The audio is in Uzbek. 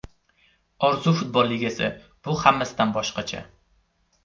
Orzu Futbol Ligasi: Bu hammasidan boshqacha!.